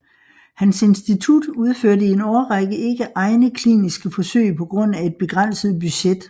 Hans institut udførte i en årrække ikke egne kliniske forsøg på grund af et begrænset budget